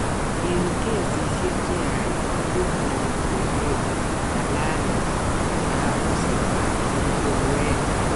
Eng' kesisiek cheyaach koburbureni kereet, ng'alalet, kabuseet ak lugueet